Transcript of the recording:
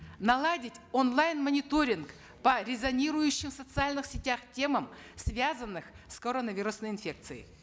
наладить онлайн мониторинг по резонирующим в социальных сетях темам связанным с коронавирусной инфекцией